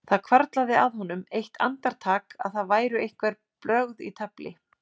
Það hvarflaði að honum eitt andartak að það væru einhver brögð í tafli.